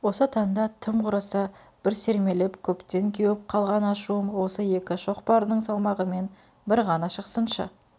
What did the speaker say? осы танда тым құрыса бір сермеліп көптен кеуіп қалған ашуым осы екі шоқпардың салмағымен бір ғана шықсыншы